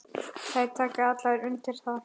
Þær taka allar undir það.